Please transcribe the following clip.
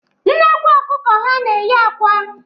Nnekwu ọkụkụ ha na-eyi akwa.